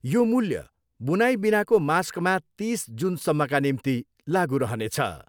यो मूल्य बुनाई बिनाको मास्कमा तिस जुनसम्मका निम्ति लागु रहनेछ।